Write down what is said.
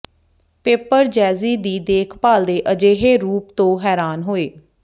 ਪੇਪਰਜ਼ੈਜ਼ੀ ਦੀ ਦੇਖਭਾਲ ਦੇ ਅਜਿਹੇ ਰੂਪ ਤੋਂ ਹੈਰਾਨ ਹੋਏ